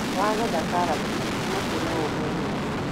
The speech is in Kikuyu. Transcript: Wagetha karati mahuti macio no ũhe ng'ombe.